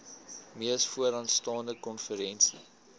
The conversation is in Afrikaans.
mees vooraanstaande konferensie